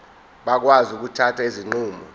bakwazi ukuthatha izinqumo